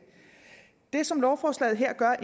det som lovforslaget her gør